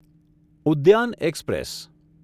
Udyan express